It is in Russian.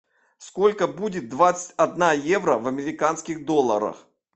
сколько будет двадцать одна евро в американских долларах